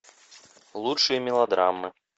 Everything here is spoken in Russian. лучшие мелодрамы